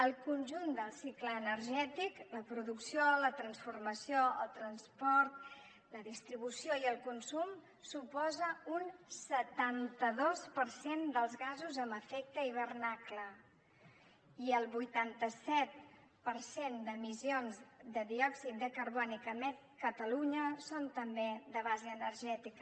el conjunt del cicle energètic la producció la transformació el transport la distribució i el consum suposa un setanta dos per cent dels gasos amb efecte d’hivernacle i el vuitanta set per cent d’emissions de diòxid de carboni que emet catalunya són també de base energètica